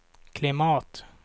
klimat